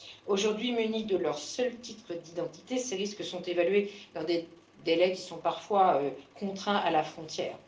Aujourd'hui, munis de leur seul titre d'identité, ces risques sont évalués dans des délais qui sont parfois contraints à la frontière.